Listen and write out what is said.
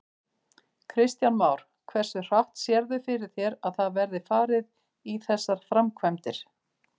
Kristján Már: Hversu hratt sérðu fyrir þér að það verði farið í þessar framkvæmdir?